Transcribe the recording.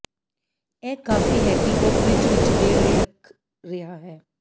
ਇਹ ਕਾਫ਼ੀ ਹੈ ਕਿ ਉਹ ਫਰਿੱਜ ਵਿੱਚ ਦੇਰ ਲਈ ਰੱਖ ਰਿਹਾ ਹੈ